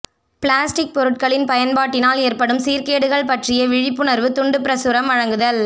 plastic பொருட்களின் பயன்பாட்டினால் ஏற்படும் சீர்கேடுகள் பற்றிய விழிப்புணர்வு துண்டு பிரசுரம் வழங்குதல்